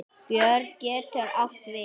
Björn getur átt við